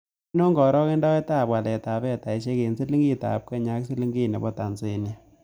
Ainon karogendoetap waletap fedaisiek eng' silingiitap kenya ak silingiit ne po tanzania